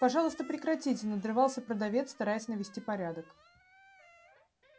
пожалуйста прекратите надрывался продавец стараясь навести порядок